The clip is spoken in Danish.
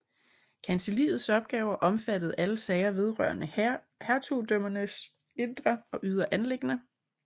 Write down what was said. Kancelliets opgaver omfattede alle sager vedrørende hertugdømmernes indre og ydre anliggender